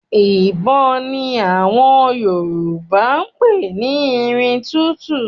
Ìbọn ni àwọn Yorùbá ń pè ní irin tútu